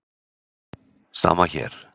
Sama hér.